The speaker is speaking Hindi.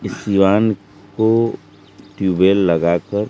इस सिवान को ट्यूबवेल लगाकर--